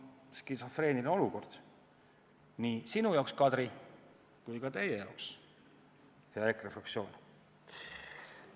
Skisofreeniline olukord nii sinu jaoks, Kadri, kui ka teie jaoks, hea EKRE fraktsioon.